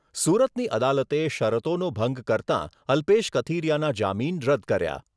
સુરતની અદાલતે શરતોનો ભંગ કરતાં અલ્પેશ કથિરીયાના જામીન રદ કર્યા.